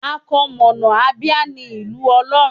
Àkọmọ̀nà Abia ní Ìlú Ọlọ́run.